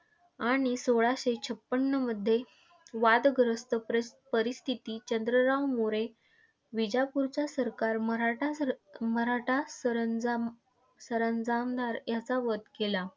आणि सोळाशे छपन्नमध्ये वादग्रस्त परिसपरिस्थितीत चंद्रराव मोरे, विजापूरचे सरकार मराठा सरंमराठा सरंजाम सरंजामदार याचा वध केला.